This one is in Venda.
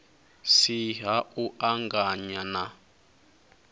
si ha u anganya na